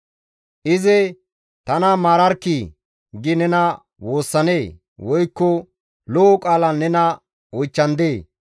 Izi, ‹Tana maararkkii!› gi nena woossanee? Woykko lo7o qaalan nena oychchandee?